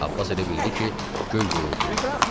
Abbas elə bildi ki, göy guruldayır.